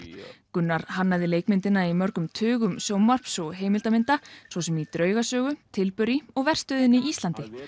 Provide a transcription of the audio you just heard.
Gunnar hannaði leikmyndina í mörgum tugum sjónvarps og heimildamynda svo sem í draugasögu og verstöðinni Íslandi